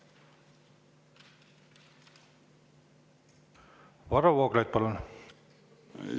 Varro Vooglaid, palun!